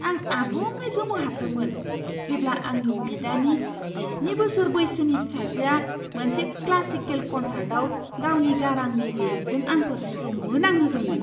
आं आबुङै गोमोहाबदोंमोन जेब्ला आंनि बिदानि जिस्नि बोसोर बैसोनि फिसाजोआ मोनसे क्लासिकेल कन्सार्टआव गावनि गारांनि रेन्जजों आंखौ सोमोनांहोदोंमोन!